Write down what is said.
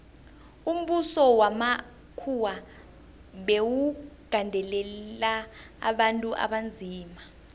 umbuso wamakhuwa bewugandelela abantu abanzima